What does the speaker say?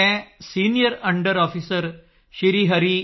ਮੈਂ senior under officer Sri ਹਰੀ